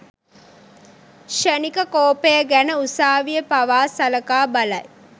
ක්‍ෂණික කෝපය ගැන උසාවිය පවා සලකා බලයි.